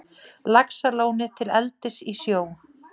Laxalóni til eldis í sjó.